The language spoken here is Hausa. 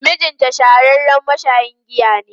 Mijinta shahararren mashayin giya ne.